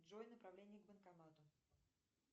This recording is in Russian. джой направление к банкомату